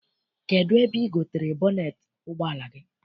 Kedụ ebe I gotere bọneet ụgbọala gị?